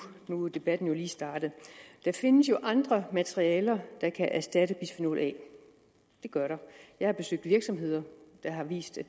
nu er debatten jo lige startet der findes jo andre materialer der kan erstatte bisfenol a det gør der jeg har besøgt virksomheder der har vist at